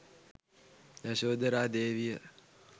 යශෝධරා දේවිය